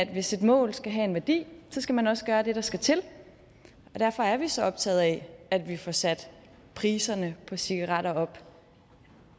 hvis et mål skal have en værdi skal man også gøre det der skal til og derfor er vi så optaget af at vi får sat priserne på cigaretter op